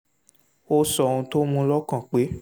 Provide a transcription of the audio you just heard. ó sọ ohun tó mú u lọ́kàn pé